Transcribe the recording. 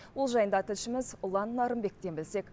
бұл жайында тілшіміз ұлан нарынбектен білсек